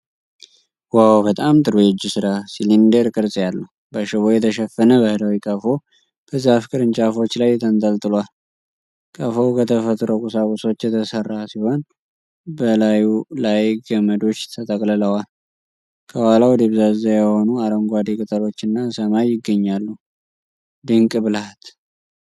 ዋው፣ በጣም ጥሩ የእጅ ሥራ! ሲሊንደር ቅርጽ ያለው፣ በሽቦ የተሸፈነ ባህላዊ ቀፎ በዛፍ ቅርንጫፎች ላይ ተንጠልጥሏል። ቀፎው ከተፈጥሮ ቁሳቁሶች የተሰራ ሲሆን፣ በላዩ ላይ ገመዶች ተጠቅልለዋል። ከኋላው ደብዛዛ የሆኑ አረንጓዴ ቅጠሎችና ሰማይ ይገኛሉ፤ ድንቅ ብልሃት!